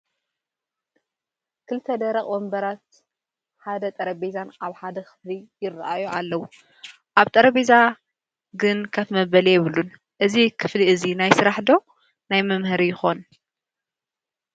2 ደረቐ ወንበራትን ሓደ ጠረጼዛን ኣብ ሓደ ክፍሊ ይረኣዩ ኣለው፡፡ ኣብ ጠረጼዛ ግን ከፍ መበሊ የብሉን፡፡ እዚ ክፍሊ እዚ ናይ ስራሕ ዶ ናይ መምሃሪ ይኾን?